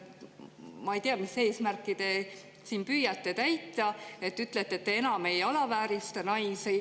Ma ei tea, mis eesmärki te siin püüate täita, et ütlete, et te enam ei alaväärista naisi.